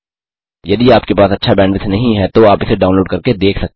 यदि आपके पास अच्छा बैंडविड्थ नहीं है तो आप इसे डाउनलोड करके देख सकते हैं